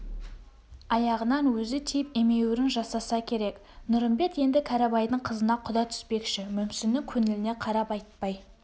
аяғынан өзі тиіп емеуірін жасаса керек нұрымбет енді кәрібайдың қызына құда түспекші мүмсіннің көңіліне қарап айтпай